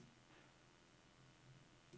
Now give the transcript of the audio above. Slet alle filer fra diskette.